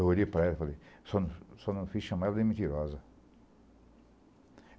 Eu olhei para ela e falei, só só não quis chamar ela de mentirosa.